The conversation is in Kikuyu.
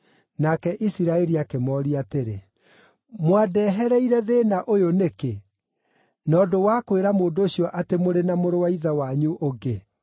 Nake Isiraeli akĩmooria atĩrĩ, Mwandehereire thĩĩna ũyũ nĩkĩ, na ũndũ wa kwĩra mũndũ ũcio atĩ nĩ mũrĩ na mũrũ wa ithe wanyu ũngĩ?